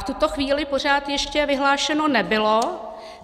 V tuto chvíli pořád ještě vyhlášeno nebylo.